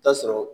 Taa sɔrɔ